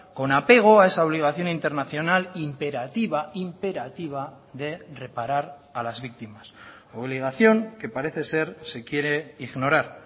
con apego a esa obligación internacional imperativa imperativa de reparar a las víctimas obligación que parece ser se quiere ignorar